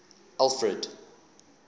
alfred